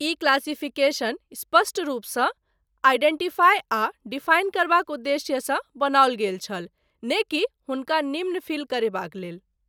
ई classification स्पष्ट रूपसँ identify आ डिफाइन करबाक उद्देश्यसँ बनौल गेल छल नै कि हुनका निम्न फील करेबाक लेल।